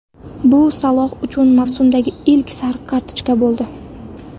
Bu Saloh uchun mavsumdagi ilk sariq kartochka bo‘ldi.